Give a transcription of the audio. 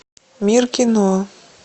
мир кино